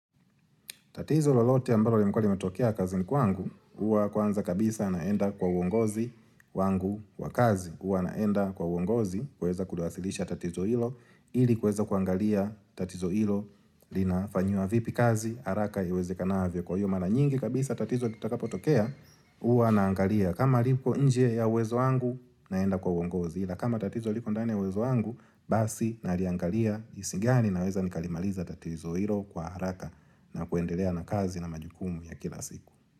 Tatizo lolote ambalo lilikua limetokea kazini kwangu, huwa kwanza kabisa naenda kwa uongozi wangu wa kazi. Huwa naenda kwa uongozi kuweza kulasilisha tatizo hilo, ili kueza kuangalia tatizo hilo linafanyiwa vipi kazi, haraka iwezekanavyo kwa hiyo. Na nyingi kabisa tatizo litakapotokea, huwa naangalia. Kama lipo nje ya uwezo wangu, naenda kwa uongozi. Ila kama tatizo liko ndani ya uwezo wangu basi naliangalia jinsi gani naweza nikalimaliza tatizo hilo kwa haraka na kuendelea na kazi na majukumu ya kila siku.